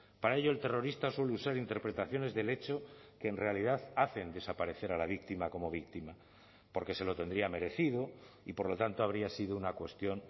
para ello el terrorista suele usar interpretaciones del hecho que en realidad hacen desaparecer a la víctima como víctima porque se lo tendría merecido y por lo tanto habría sido una cuestión